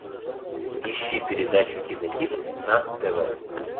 ищи передачу кинохит на тв